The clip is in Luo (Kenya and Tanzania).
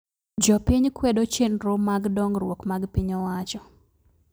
Jopiny kwedo chenro mag dongruok mag piny owacho